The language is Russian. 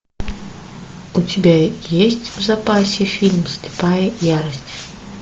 у тебя есть в запасе фильм слепая ярость